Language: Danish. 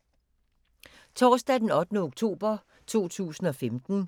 Torsdag d. 8. oktober 2015